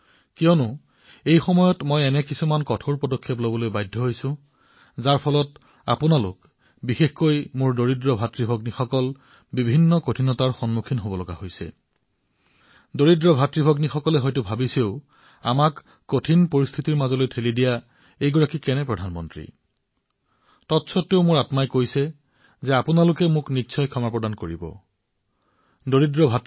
আৰু মোৰ আত্মাই কৈছে যে আপোনালোকে মোক নিশ্চয়কৈ ক্ষমা কৰিব কিয়নো এনে কিছুমান সিদ্ধান্ত মই গ্ৰহণ কৰিবলগীয়া হৈছে যাৰ ফলত আপোনালোকে কঠিন পৰিস্থিতিৰ মাজেৰে সময় পাৰ কৰিবলগীয়া হৈছে বিশেষকৈ মোৰ দুখীয়া ভাইভনীসকলে বোধহয় ভাবিছে যে এইজন কেনে প্ৰধানমন্ত্ৰী যিয়ে আমাক সমস্যাৰ মাজলৈ ঠেলি দিছে